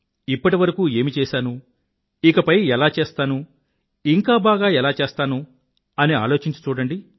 ఇప్పటివరకు ఏమి చేసాను ఇకపై ఎలా చేస్తాను ఇంకా బాగా ఎలా చేస్తాను అని ఆలోచించి చూడండి